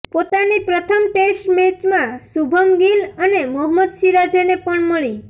પોતાની પ્રથમ ટેસ્ટ મૅચમાં શુભમ ગિલ અને મહોમ્મદ સિરાજને પણ મળી